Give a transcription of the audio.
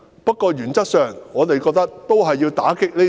不過，原則上，我們都認為要打擊這三座"大山"。